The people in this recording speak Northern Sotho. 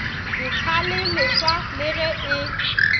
ditlhale leswa le ge e